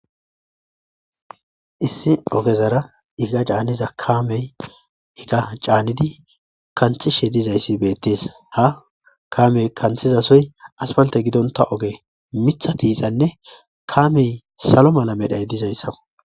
issi ogezara iga caaniza kaamey iga caanidi kanthishe dizayssi beettees ha kamey kanthizasoy aspalte gidonta oge mitha tiixanne kaamey salo mala medhay dizayssao